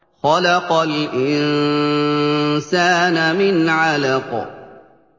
خَلَقَ الْإِنسَانَ مِنْ عَلَقٍ